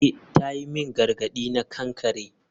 Eh ta yi min gargadi na kankare.